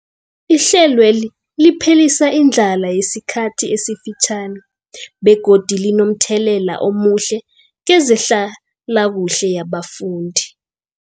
Ihlelweli liphelisa indlala yesikhathi esifitjhani begodu linomthelela omuhle kezehlalakuhle yabafundi.